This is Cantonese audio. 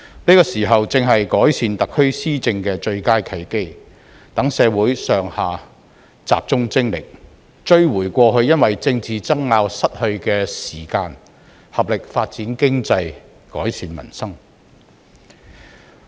此時正是改善特區施政的最佳契機，讓社會上下集中精力，追回過去因為政治爭拗而失去的時間，合力發展經濟、改善民生。